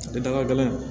Tɛ daga gɛlɛn